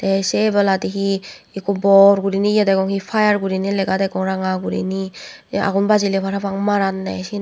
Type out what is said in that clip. te se ebeladi he ekko bor gunei ye degong he fire gorinei lega degong ranga gorinei he agun bajile parang maranne syen.